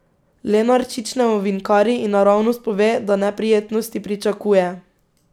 Lenarčič ne ovinkari in naravnost pove, da neprijetnosti pričakuje.